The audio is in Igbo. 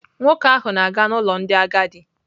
Nwoke ahụ na-aga n'ụlọ ndị agadi.